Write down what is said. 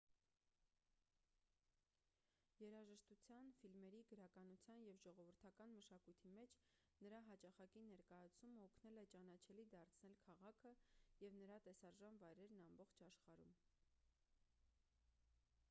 երաժշտության ֆիլմերի գրականության և ժողովրդական մշակույթի մեջ նրա հաճախակի ներկայացումը օգնել է ճանաչելի դարձնել քաղաքը և նրա տեսարժան վայրերն ամբողջ աշխարհում